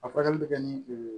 A furakɛli bɛ kɛ ni